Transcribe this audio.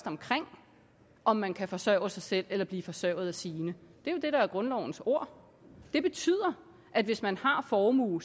omkring om man kan forsørge sig selv eller blive forsørget af sine det er jo det der er grundlovens ord det betyder at hvis man har formue